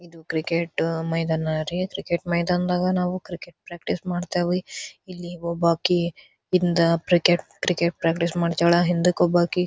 ಇದು ಕ್ರಿಕೆಟ ಮೈದಾನ ರಿ ಕ್ರಿಕೆಟ್ ಮೈದಾನಾಗ ನಾವು ಕ್ರಿಕೆಟ್ ಪ್ರಾಕ್ಟೀಸ್ ಮಾಡ್ತಾವಿ ಇಲ್ಲಿ ಒಬ್ಬಕೆಯಿಂದ ಕ್ರಿಕೆಟ್ ಕ್ರಿಕೆಟ್ ಪ್ರಾಕ್ಟೀಸ್ ಮಾಡ್ತಿದಳಾ ಹಿಂದಕ್ ಒಬ್ಬಾಕಿ --